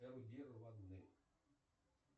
эрудированны